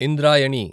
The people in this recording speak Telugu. ఇంద్రాయణి